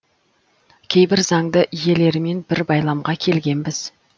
кейбір заңды иелерімен бір байламға келгенбіз